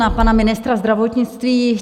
Na pana ministra zdravotnictví.